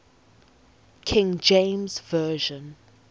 king james version